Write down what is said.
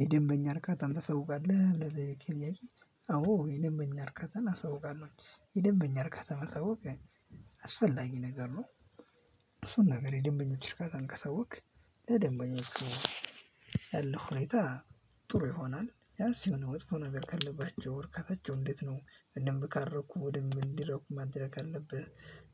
የደንበኛ እርካታን ታሳውቃለህ? ብለህ ለጠየከኝ ጥያቄ? አዎ የደንበኛ እርካታን አሳውቃለሁ የደንበኛ እርካታ ማሳወቅ አስፈላጊ ነገር ነው። ብዙ ነገር የደንበኞች እርካታን ካሳወክ። ለደንበኞች ያለው ሁኔታ ጥሩ ይሆናል። ቢያንስ የሆነ መጥፎ ነገር ካለባቸው እርካታቸው እንዴት? ነው በደምብ ካልረኩ በደምብ እንዲረኩ ማድረግ ካለብህ።